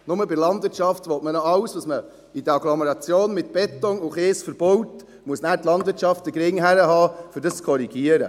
Nur bei der Landwirtschaft will man alles, was man in der Agglomeration mit Beton und Kies verbaut, dort muss die Landwirtschaft den Kopf hinhalten, um dies zu korrigieren.